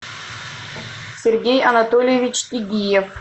сергей анатольевич тыгиев